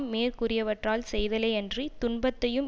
மேற்கூறியவாற்றால் செய்தலே யன்றி துன்பத்தையும்